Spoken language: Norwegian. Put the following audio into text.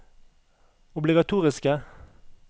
obligatoriske